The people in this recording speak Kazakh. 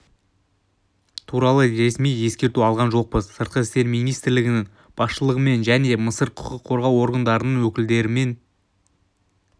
туралы ресми ескерту алған жоқпыз сыртқы істер министрлігінің басшылығымен және мысыр құқық қорғау органдарының өкілдерімен